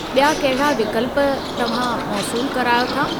बि॒या कहिड़ा विकल्प तव्हां मौसूल करायो था ?